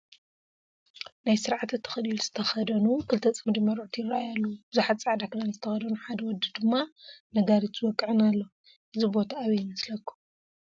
ናይ ስርዓተ ተክሊል ዝተኸደኑ ክልተ ፅምዲ መርዑት ይራኣዩ ኣለው፡፡ ብዙሓት ፃዕዳ ኽዳን ዝተኸደኑን ሓደ ወዲ ድማ ነጋሪት ዝወቅዕን ኣሎ፡፡ እዚ ኣብይ ቦታ ይመስለኩም?